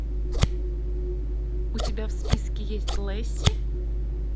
у тебя в списке есть лесси